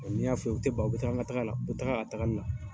N'i'a fɔ u ye, u tɛ ban u bɛ taa n ka taga la, u taa a tagali la.